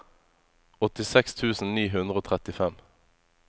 åttiseks tusen ni hundre og trettifem